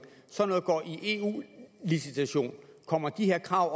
sådan noget går i eu licitation kommer de her krav